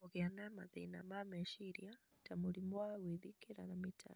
kũgĩa na mathĩna ma meciria ta mũrimũ wa gwĩthikĩra na mĩtangĩko.